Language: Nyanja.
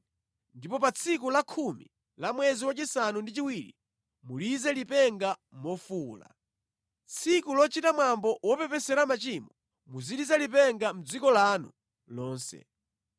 Ndipo pa tsiku la khumi la mwezi wachisanu ndi chiwiri mulize lipenga mofuwula. Tsiku lochita mwambo wopepesera machimo muziliza lipenga mʼdziko lanu lonse.